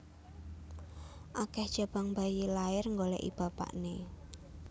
Akeh jabang bayi lahir nggoleki bapakne